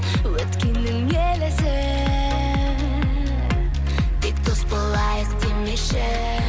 өткеннің елесі тек дос болайық демеші